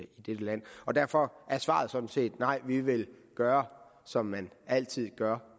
dette land og derfor er svaret sådan set nej vi vil gøre som man altid gør